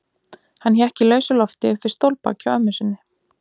Hann hékk í lausu lofti upp við stólbak hjá mömmu sinni.